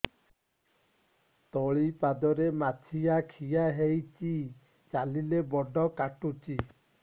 ତଳିପାଦରେ ମାଛିଆ ଖିଆ ହେଇଚି ଚାଲିଲେ ବଡ଼ କାଟୁଚି